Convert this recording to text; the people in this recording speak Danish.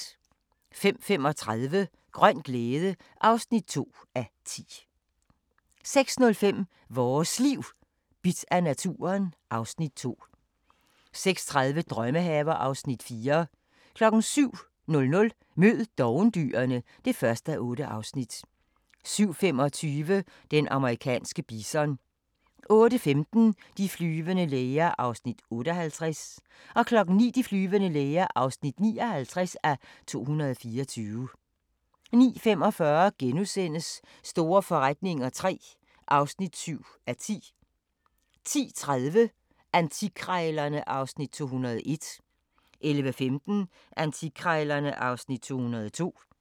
05:35: Grøn glæde (2:10) 06:05: Vores Liv: Bidt af naturen (Afs. 2) 06:30: Drømmehaver (Afs. 4) 07:00: Mød dovendyrene (1:8) 07:25: Den amerikanske bison 08:15: De flyvende læger (58:224) 09:00: De flyvende læger (59:224) 09:45: Store forretninger III (7:10)* 10:30: Antikkrejlerne (Afs. 201) 11:15: Antikkrejlerne (Afs. 202)